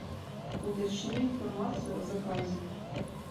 уточни информацию о заказе